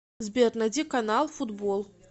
сбер найди канал футбол